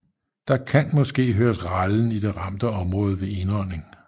Der kan måske høres rallen i det ramte område ved indånding